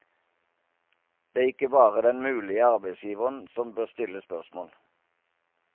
Det er ikke bare den mulige arbeidsgiveren som bør stille spørsmål.